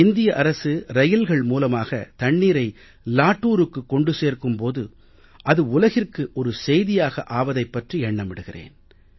இந்திய அரசு ரயில்கள் மூலமாக தண்ணீரை லாடூருக்கு கொண்டு சேர்க்கும் போது அது உலகிற்கு ஒரு செய்தியாக ஆவதைப் பற்றி எண்ணமிடுகிறேன்